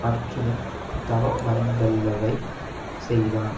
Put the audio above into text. அர்ச்சுனன் தவமறைந்தல்லவை செய்தான்